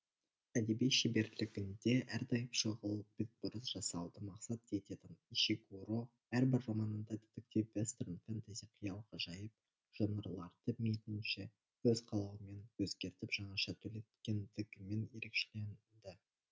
әдеби шеберлігінде әрдайым шұғыл бетбұрыс жасауды мақсат ететін ишигуро әрбір романында детектив вестерн фэнтэзи қиял ғажайып жанрларды мейлінше өз қалауымен өзгертіп жаңаша түлеткендігімен ерекшеленді